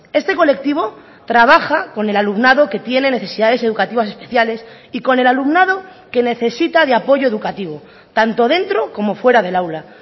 este colectivo trabaja con el alumnado que tiene necesidades educativas especiales y con el alumnado que necesita de apoyo educativo tanto dentro como fuera del aula